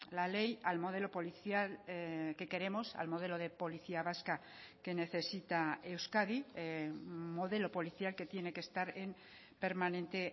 la ley al modelo policial que queremos al modelo de policía vasca que necesita euskadi modelo policial que tiene que estar en permanente